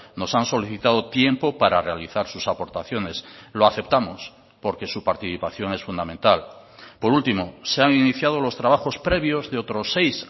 nos han solicitado tiempo para realizar sus aportaciones lo aceptamos porque su participación es fundamental por último se han iniciado los trabajos previos de otros seis